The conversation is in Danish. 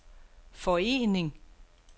forening